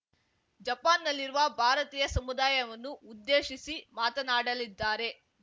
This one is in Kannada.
ಜಪಾನ್‌ನಲ್ಲಿರುವ ಭಾರತೀಯ ಸಮುದಾಯವನ್ನು ಉದ್ದೇಶಿಸಿ ಮಾತನಾಡಲಿದ್ದಾರೆ